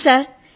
ఔను సర్